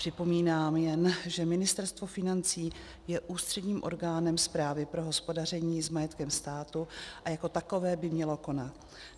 Připomínám jen, že Ministerstvo financí je ústředním orgánem správy pro hospodaření s majetkem státu a jako takové by mělo konat.